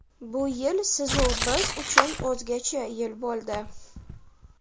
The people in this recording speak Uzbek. Bu yil siz-u biz uchun o‘zgacha yil bo‘ldi.